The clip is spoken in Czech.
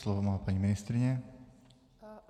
Slovo má paní ministryně.